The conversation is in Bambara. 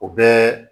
O bɛɛ